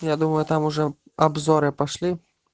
я думаю там уже обзоры пошли